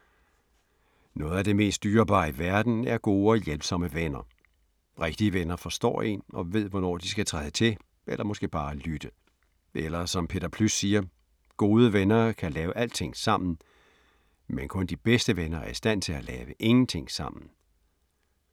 Noget af det mest dyrebare i verden er gode og hjælpsomme venner. Rigtige venner forstår én og ved hvornår de skal træde til eller måske bare lytte. Eller som Peter Plys siger: Gode venner kan lave alting sammen – men kun de bedste venner er i stand til at lave ingenting sammen.